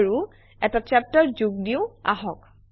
আৰু এটা চেপ্টাৰ যোগ দিওঁ আহক